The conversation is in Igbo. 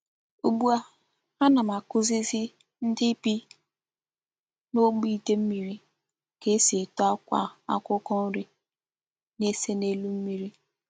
Ugbu a,Ana m akuzizi ndi bi na'ogbe ide mmiri ka esi eto akwa akwukwo nri na-ese n'elu mmiri.